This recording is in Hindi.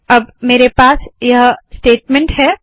अब मेरे पास यह स्टेटमेंट है